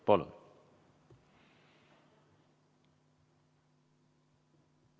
Palun!